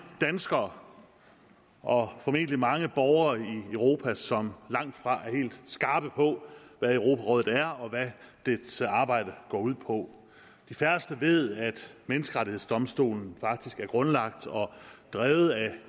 danskere og formentlig mange andre borgere i europa som langtfra er helt skarpe på hvad europarådet er og hvad dets arbejde går ud på de færreste ved at menneskerettighedsdomstolen faktisk er grundlagt og drevet af